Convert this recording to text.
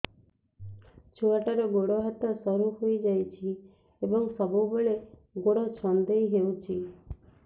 ଛୁଆଟାର ଗୋଡ଼ ହାତ ସରୁ ହୋଇଯାଇଛି ଏବଂ ସବୁବେଳେ ଗୋଡ଼ ଛଂଦେଇ ହେଉଛି